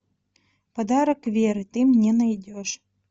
подарок веры ты мне найдешь